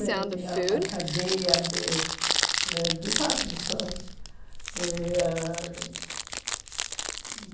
Ele tinha uma cadeia de ãh department stores. E ãh